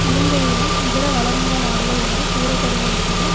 இலங்கையிலும் இதர வளர்முக நாடுகள் என்று கூறப்படுபவற்றிலும்